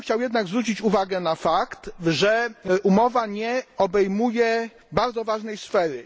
Chciałbym jednak zwrócić uwagę na fakt, że umowa nie obejmuje bardzo ważnej sfery.